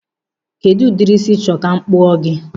Kedụ ụdịrị ísí ị chọrọ ka m kpụọ gị?